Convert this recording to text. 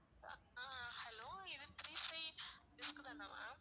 ஆஹ் hello இது prepaid dish தானா ma'am